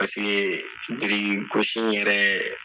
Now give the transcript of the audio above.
birikigosi in yɛrɛ